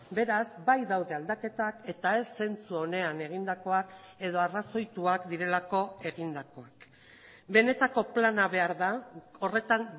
beraz bai daude aldaketak eta ez zentzu onean egindakoak edo arrazoituak direlako egindakoak benetako plana behar da horretan